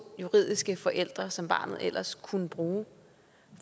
juridiske forældre som barnet ellers kunne bruge